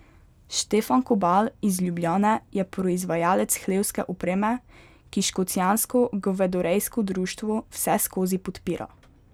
Štefan Kobal iz Ljubljane je proizvajalec hlevske opreme, ki škocjansko govedorejsko društvo vseskozi podpira.